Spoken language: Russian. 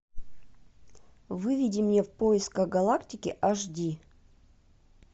выведи мне в поисках галактики аш ди